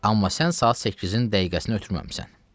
Amma sən saat 8-in dəqiqəsini ötürməmisən.